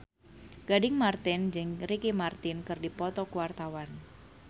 Gading Marten jeung Ricky Martin keur dipoto ku wartawan